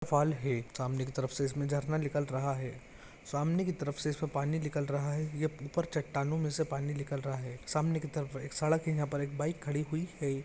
फल है। सामने की तरफ़ से इसमे झरना निकल रहा है। सामने की तरफ़ से इसमे पानी निकाल रहा है। ये ऊपर चट्टानों मे से पानी निकल रहा है। सामने की तरफ़ एक सड़क है। यहा पर बैक खड़ी हुई है।